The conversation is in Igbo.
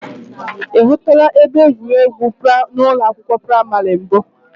I hụtụla ebe egwuregwu ụlọ akwụkwọ praimari mbụ?